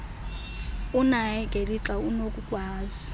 unaye gelixa unokukwazi